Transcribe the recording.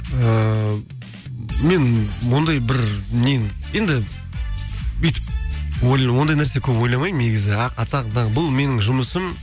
ыыы мен ондай бір енді өйтіп ондай нәрсе көп ойламаймын негізі атақ даңқ бұл менің жұмысым